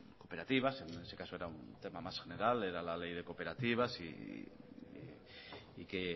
cooperativas en este caso era un tema más general era la ley de cooperativas y que